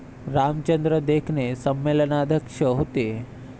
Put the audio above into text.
रामचंद्र देखणे संमेलनाध्यक्ष होते.